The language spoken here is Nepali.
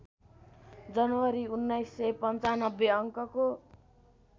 जनवरी १९९५ अङ्कको